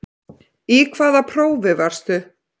Í hvaða prófi varstu?